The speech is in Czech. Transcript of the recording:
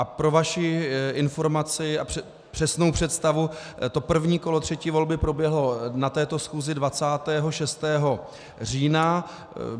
A pro vaši informaci a přesnou představu, to první kolo třetí volby proběhlo na této schůzi 26. října.